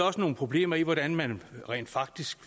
også nogle problemer i hvordan man faktisk